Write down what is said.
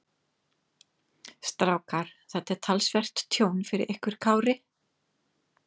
Strákar, þetta er talsvert tjón fyrir ykkur Kári?